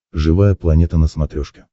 живая планета на смотрешке